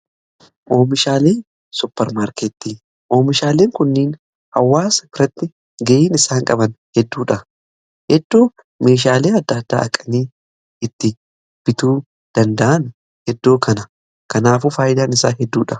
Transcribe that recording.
Oomishaalee supparmaarkeetii, oomishaaleen kunniin hawwaasa biratti ga'een isaan qaban hedduudha. Iddoo meeshaalee adda addaa dhaqanii itti bituu danda'an Iddoo kana. Kanaafuu faayidaan isaa hedduudha.